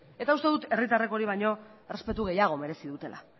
eta uste dut herritarrek hori baino errespetu gehiago merezi dutela